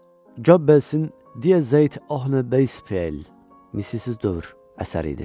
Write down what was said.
Job Bel'sin Die Zeit Ohne Bel missizsiz dövr əsəri idi.